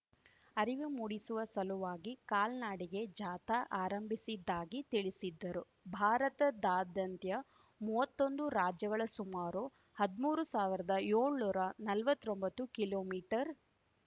ಅರಿವು ಮೂಡಿಸುವ ಸಲುವಾಗಿ ಕಾಲ್ನಡಿಗೆ ಜಾಥಾ ಆರಂಭಿಸಿದ್ದಾಗಿ ತಿಳಿಸಿದ್ದರು ಭಾರತದಾದ್ಯಂತ ಮುವತ್ತೊಂದು ರಾಜ್ಯಗಳ ಸುಮಾರು ಹದ್ಮೂರು ಸಾವಿರ್ದಾಯೋಳ್ನೂರಾ ನಲ್ವತ್ತೊಂಬತ್ತು ಕಿಲೋಮೀಟರ್